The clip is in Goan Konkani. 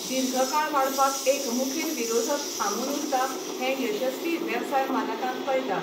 दीर्घकाळ वाडपाक एक मुखेल विरोधक थांबून उरता हें यशस्वी वेवसाय मालकांक कळटा.